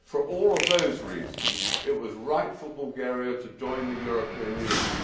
For all of those reasons it was right for Bulgaria to join the European Union.